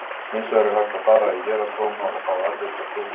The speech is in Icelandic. Hins vegar er hægt að fara í héraðsdóma og fá afrit af dómi.